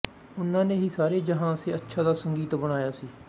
ਉਹਨਾਂ ਨੇ ਹੀ ਸਾਰੇ ਜਹਾਂ ਸੇ ਅੱਛਾ ਦਾ ਸੰਗੀਤ ਬਣਾਇਆ ਸੀ